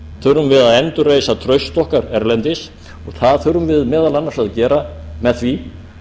þurfum við að endurreisa traust okkar erlendis og það þurfum við meðal annars að gera með því